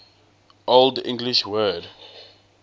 old english word